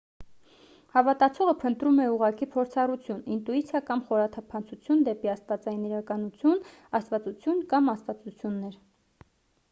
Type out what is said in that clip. հավատացողը փնտրում է ուղղակի փորձառություն ինտուիցիա կամ խորաթափանցություն դեպի աստվածային իրականություն/աստվածություն կամ աստվածություններ: